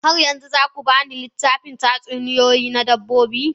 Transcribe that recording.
Har yanzu za ku ba ni littafin tatsuniyoyi na dabbobi?